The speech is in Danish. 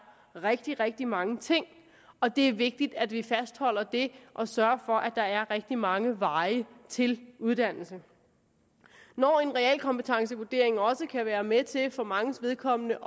rigtig rigtig mange ting og det er vigtigt at vi fastholder det og sørger for at der er rigtig mange veje til uddannelse når en realkompetencevurdering også kan være med til for manges vedkommende